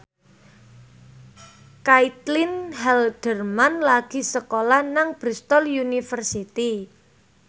Caitlin Halderman lagi sekolah nang Bristol university